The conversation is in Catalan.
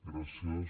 gràcies